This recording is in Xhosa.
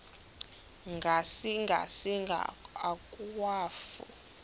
ngasinga singa akwafu